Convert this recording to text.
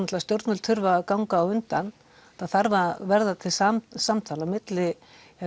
stjórnvöld þurfa að ganga á undan það þarf að verða til samtal á milli